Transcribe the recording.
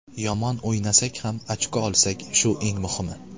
Yomon o‘ynasak ham ochko olsak shu eng muhimi.